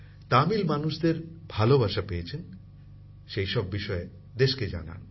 তামিল মানুষদের ভালবাসা পেয়েছেন সেই সব বিষয়ে দেশকে জানান